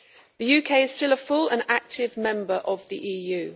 The UK is still a full and active member of the EU.